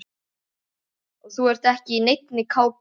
Og þú ert ekki í neinni kápu.